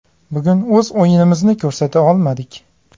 Bugun o‘z o‘yinimizni ko‘rsata olmadik.